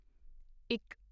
ਇੱਕ